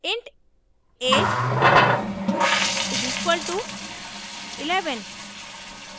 int age is equal to 11